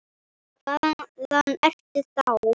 Hvaðan ertu þá?